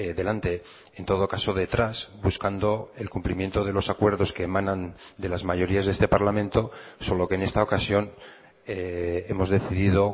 delante en todo caso detrás buscando el cumplimiento de los acuerdos que emanan de las mayorías de este parlamento solo que en esta ocasión hemos decidido